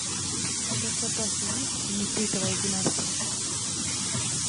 у тебя в запасе есть нефритовая династия